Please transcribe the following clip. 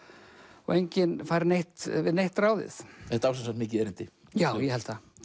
og enginn fær neitt við neitt ráðið þetta á sem sagt mikið erindi já ég held það